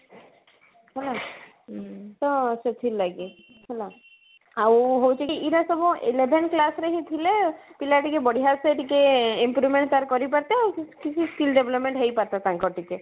ହୁଁ ତ ସେଥିରଲାଗି ହେଲା ଆଉ ହଉଛି କି ଇରା ସବୁ eleven class ରେ ହିଁ ଥିଲେ ପିଲା ଟିକେ ବଢିଆ ସେ ଟିକେ improvement ତାର କରି ପାରତେ ଆଉ କିଛି skill development ହେଇ ପାରନ୍ତା ତାଙ୍କର ଟିକେ